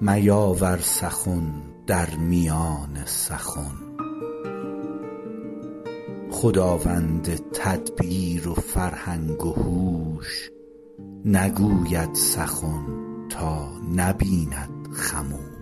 میاور سخن در میان سخن خداوند تدبیر و فرهنگ و هوش نگوید سخن تا نبیند خموش